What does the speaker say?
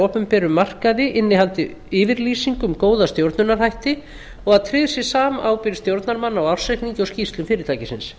opinberum markaði innihaldi yfirlýsingu um góða stjórnunarhætti og að tryggð sé samábyrgð stjórnarmanna á ársreikningi og skýrslum fyrirtækisins